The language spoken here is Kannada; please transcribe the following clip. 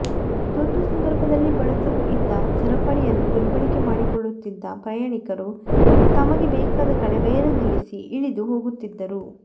ತುರ್ತು ಸಂದರ್ಭದಲ್ಲಿ ಬಳಸಲು ಇದ್ದ ಸರಪಳಿಯನ್ನು ದುರ್ಬಳಕೆ ಮಾಡಿಕೊಳ್ಳುತ್ತಿದ್ದ ಪ್ರಯಾಣಿಕರು ತಮಗೆ ಬೇಕಾದ ಕಡೆ ರೈಲು ನಿಲ್ಲಿಸಿ ಇಳಿದು ಹೋಗುತ್ತಿದ್ದರು